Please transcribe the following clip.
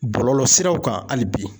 Bɔlɔlɔ siraw kan ali bi.